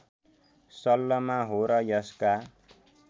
सल्लमा हो र यसका